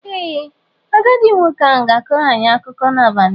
Ee, agadi nwoke ahụ ga-akọrọ anyị akụkọ n'abalị a.